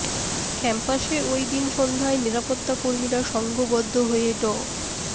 ক্যাম্পাসে ওই দিন সন্ধ্যায় নিরাপত্তা কর্মীরা সংঘবদ্ধ হয়ে ড